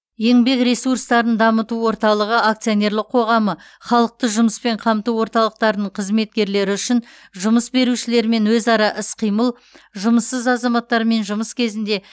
еңбек ресурстарын дамыту орталығы акционерлік қоғамы халықты жұмыспен қамту орталықтарының қызметкерлері үшін жұмыс берушілермен өзара іс қимыл жұмыссыз азаматтармен жұмыс кезінде